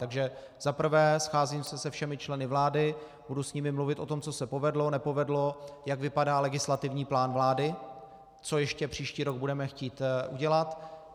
Takže za prvé, scházím se všemi členy vlády, budu s nimi mluvit o tom, co se povedlo, nepovedlo, jak vypadá legislativní plán vlády, co ještě příští rok budeme chtít udělat.